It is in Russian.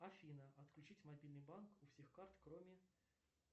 афина отключить мобильный банк у всех карт кроме